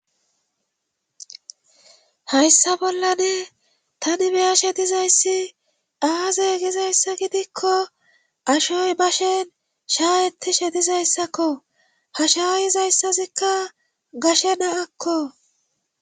Hayssa bollane tani beya shedizayssi aaze gizayssa gidikko ashoy bashen shaayetti shedizayssakko ha shaayizayssazikka gashe naakko.